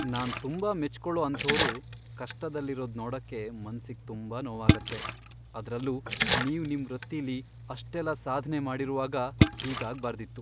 ನಾನ್ ತುಂಬಾ ಮೆಚ್ಕೊಳೋ ಅಂಥೋರು ಕಷ್ಟದಲ್ಲಿರೋದ್ ನೋಡಕ್ಕೆ ಮನ್ಸಿಗ್ ತುಂಬಾ ನೋವಾಗತ್ತೆ, ಅದ್ರಲ್ಲೂ ನೀವು ನಿಮ್ ವೃತ್ತಿಲಿ ಅಷ್ಟೆಲ್ಲ ಸಾಧ್ನೆ ಮಾಡಿರುವಾಗ, ಹೀಗಾಗ್ಬಾರ್ದಿತ್ತು.